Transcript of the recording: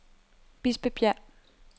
Bispebjerg